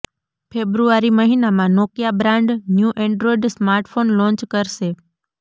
ફેબ્રુઆરી મહિનામાં Nokia brand new Android smartphone launch કરશે